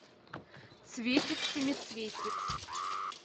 цветик семицветик